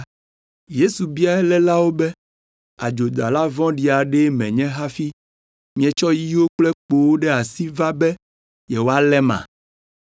Yesu bia elélawo be, “Adzodala vɔ̃ɖi aɖee menye hafi mietsɔ yiwo kple kpowo ɖe asi va be yewoaléma?